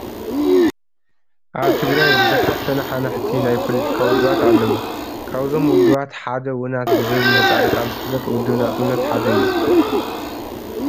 ኣብ ትግራይ ብዙሓት ተነሓናሕቲ ናይ ፖለቲካ ውድባት ኣለዉ፡፡ ካብዞም ውድባት ሓደ ውናት ብዝብል ምህፃረ ቃል ዝፍለጥ ውድብ ናፅነት ሓደ እዩ፡፡